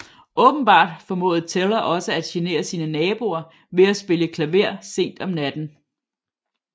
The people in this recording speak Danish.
Åbenbart formåede Teller også at genere sine naboer ved at spille klaver sent om natten